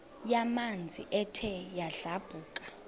yamanzi ethe yadlabhuka